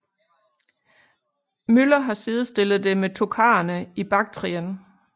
Müller har sidestillet det med tokharerne i Baktrien